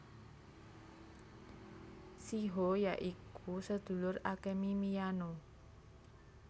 Shiho ya iku sedulur Akemi Miyano